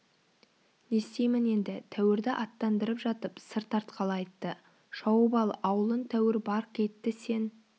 не істеймін енді тәуірді аттандырып жатып сыр тартқалы айтты шауып ал ауылын тәуір барқ етті сен